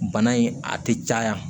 Bana in a tɛ caya